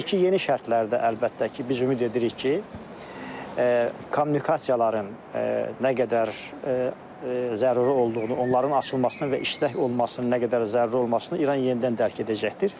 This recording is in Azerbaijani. İndiki yeni şərtlərdə əlbəttə ki, biz ümid edirik ki, kommunikasiyaların nə qədər zəruri olduğunu, onların açılmasının və işlək olmasının nə qədər zəruri olmasını İran yenidən dərk edəcəkdir.